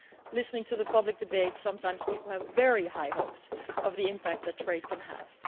Listening to the public debates, people sometimes have very high hopes of the impact that trade can have.